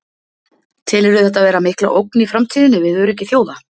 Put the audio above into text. Telurðu þetta vera mikla ógn í framtíðinni við öryggi þjóða?